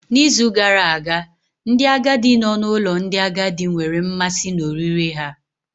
N'izu gara aga, ndị agadi nọ n'ụlọ ndị agadi nwere mmasị na oriri ha.